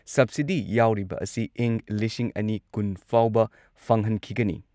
Subsidy ꯌꯥꯎꯔꯤꯕ ꯑꯁꯤ ꯏꯪ ꯂꯤꯁꯤꯡ ꯑꯅꯤ ꯀꯨꯟ ꯐꯥꯎꯕ ꯐꯪꯍꯟꯈꯤꯒꯅꯤ ꯫